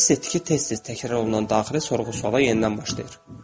Hiss etdi ki, tez-tez təkrar olunan daxili sorğu-suala yenidən başlayır.